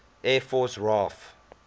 air force raaf